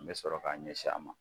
N bɛ sɔrɔ k'a ɲɛsin a ma.